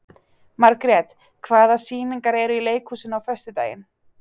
Margrét, hvaða sýningar eru í leikhúsinu á föstudaginn?